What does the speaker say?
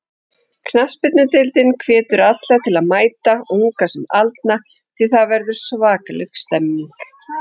Knattspyrnudeildin hvetur alla til að mæta, unga sem aldna því það verður svakaleg stemning.